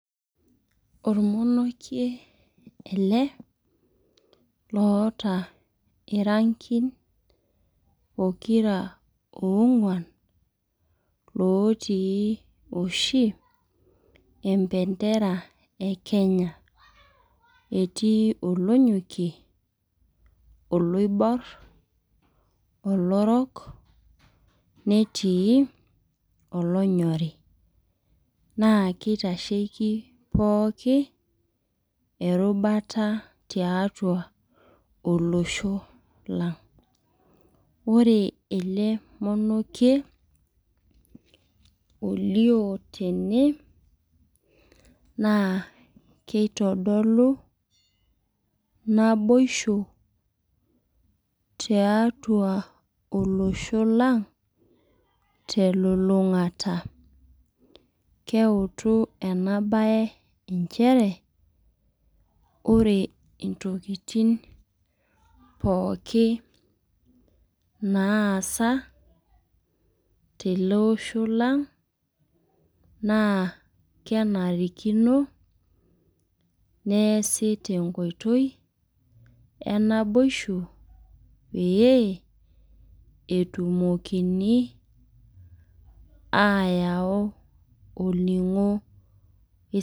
Ormonokie ele oota irankin pokira oonguan. lotij oshi empentera e kenya. etii olonyokie, oloibor, olorok, netiii olonyorri. naa kitasheki pooki erubata tiatua olosho lang. ore ele monokie, olioo tene ,naa kitodolu naboisho tiatua olosho lang telulungata. keitu ena be nchere ore ntokitin pookin naasa tele Osho lang. naa kenarikino neesie te nkoitoi e naboisho pee etumokini ayau olningo.